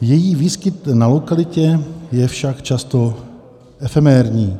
její výskyt na lokalitě je však často efemérní.